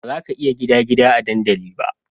Bazaka iya gida gida a dandali ba